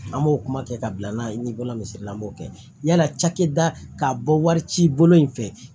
An b'o kuma kɛ ka bila n'a ye ni bana misali la an b'o kɛ yala cakɛda ka bɔ warici bolo in fɛ